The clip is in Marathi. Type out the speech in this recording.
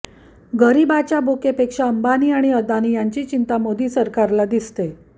गरिबाच्या भुकेपेक्षा अंबानी आणि अदानी यांची चिंता मोदी सरकारला दिसते